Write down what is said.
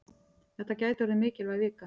Þetta gæti orðið mikilvæg vika.